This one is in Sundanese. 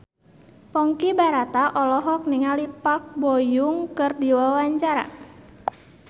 Ponky Brata olohok ningali Park Bo Yung keur diwawancara